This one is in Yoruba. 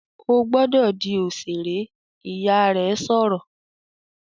"Ó gbọ́dọ̀ di òṣèré!", Ìyá rẹ̀ sọ̀rọ̀